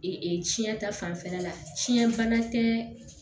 tiɲɛ ta fanfɛla la fiɲɛ bana tɛ